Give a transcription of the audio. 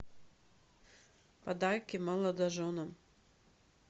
подарки молодоженам